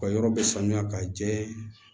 Ka yɔrɔ bɛ sanuya ka jɛ